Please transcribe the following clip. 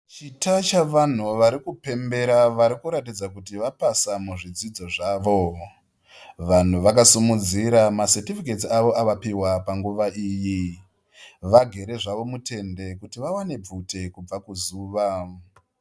Chita chevanhu vari kupembera vari kuratidza kuti vapasa muzvidzidzo zvavo. Vamwe vakasimudzira masetifiketsi avo avapiwa panguva iyi. Vagere mutende kuti vawane bvute kubva kuzuva.